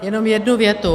Jenom jednu větu.